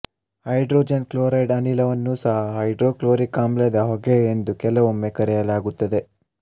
hydrogen chloride ಅನಿಲವನ್ನೂ ಸಹ hydrochloric ಆಮ್ಲದ ಹೊಗೆ ಎಂದು ಕೆಲವೊಮ್ಮೆ ಕರೆಯಲಾಗುತ್ತದೆ